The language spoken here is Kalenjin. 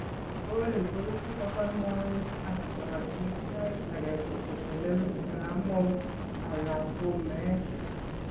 Coli koibu kobaa moet ak korotik saait ake ko kotelel saramook ala ko meet